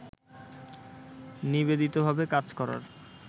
নিবেদিতভাবে কাজ করার